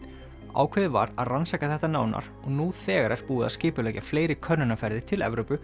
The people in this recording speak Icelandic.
ákveðið var að rannsaka þetta nánar og nú þegar er búið að skipuleggja fleiri könnunarferðir til Evrópu